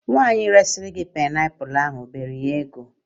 Nwaanyị resịrị gị paịnapụlụ ahụ o bere ya ebe?